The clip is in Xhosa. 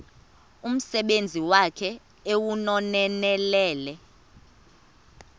umsebenzi wakhe ewunonelele